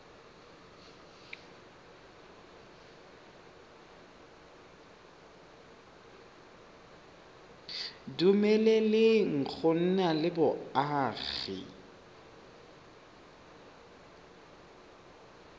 dumeleleng go nna le boagi